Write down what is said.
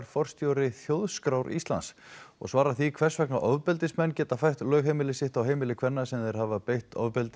forstjóri Þjóðskrár og svarar því hvers vegna ofbeldismenn geta fært lögheimili sitt á heimili kvenna sem þeir hafa beitt ofbeldi